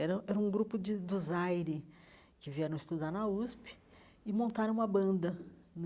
Era era um grupo de do Zaire que vieram estudar na USP e montaram uma banda né.